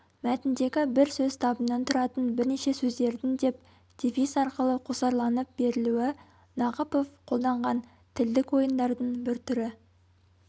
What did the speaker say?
мәтіндегі бір сөз табынан тұратын бірнеше сөздердің деп дефис арқылы қосарланып берілуі нақыпов қолданған тілдік ойындардың бір түрі